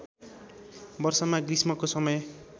वर्षमा ग्रीष्मको समय